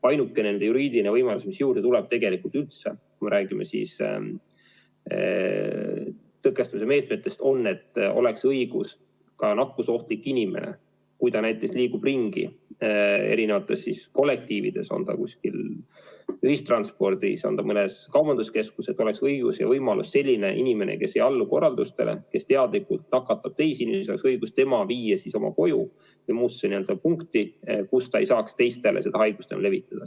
Ainuke juriidiline võimalus, mis juurde tuleb, kui me räägime tõkestamise meetmetest, on, et oleks õigus nakkusohtlik inimene, kui ta liigub ringi eri kollektiivides või kui ta on kuskil ühistranspordis, mõnes kaubanduskeskuses, et oleks õigus selline inimene, kes ei allu korraldustele, kes teadlikult nakatab teisi inimesi, viia tema koju või muusse kohta, kus ta ei saaks teistele haigust levitada.